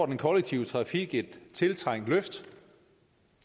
den kollektive trafik et tiltrængt løft